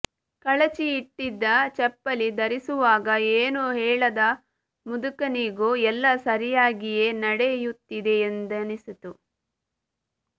ಕಳಚಿ ಇಟ್ಟಿದ್ದ ಚಪ್ಪಲಿ ಧರಿಸುವಾಗ ಏನೂ ಹೇಳದ ಮುದುಕನಿಗೂ ಎಲ್ಲಾ ಸರಿಯಾಗಿಯೇ ನಡೆಯುತ್ತಿದೆಯೆಂದನಿಸಿತು